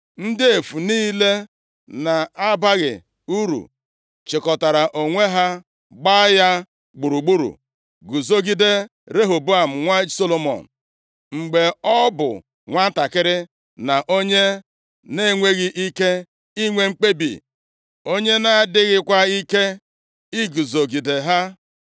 Ndị efu niile na-abaghị uru chịkọtara onwe ha gbaa ya gburugburu guzogide Rehoboam nwa Solomọn, mgbe ọ bụ nwantakịrị na onye na-enweghị ike inwe mkpebi, onye nʼadịghịkwa ike iguzogide ha.